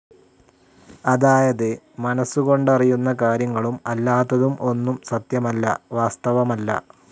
അതായത്, മനസ്സുകൊണ്ടറിയുന്ന കാര്യങ്ങളും അല്ലാത്തതും ഒന്നും സത്യമല്ല, വാസ്തവമല്ല.